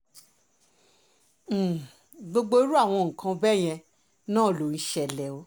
um gbogbo irú àwọn nǹkan bẹ́ẹ̀ yẹn náà ló ń ṣẹlẹ̀ o